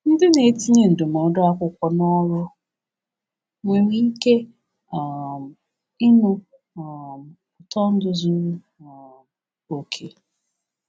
Ndị na-etinye ndụmọdụ akwụkwọ n’ọrụ nwere ike um ịnụ um ụtọ ndụ zuru um oke